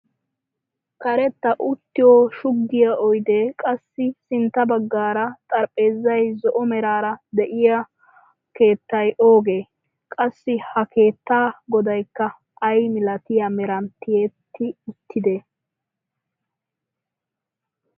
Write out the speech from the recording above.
Karetta uttiyoo shuggiyaa oydee qassi sintta baggaara xarapheezzay zo'o meraara de'iyoo keettay oogee? qassi ha keettaa godaykka ayi milatiyaa meran tiyetti uttidee?